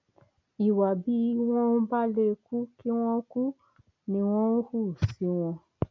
ìwà bí wọn bá lè kú kí wọn kú ni wọn ń hù sí wọn